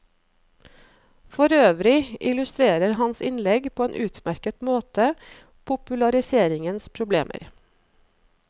Forøvrig illustrerer hans innlegg på en utmerket måte populariseringens problemer.